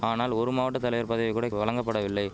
ஆனால் ஒரு மாவட்ட தலைவர் பதவி கூட வழங்கபடவில்லை